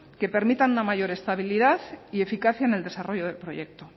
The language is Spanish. que permitan una mayor estabilidad y eficacia en el desarrollo del proyecto